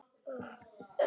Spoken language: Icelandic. Þinn, Geir Gunnar.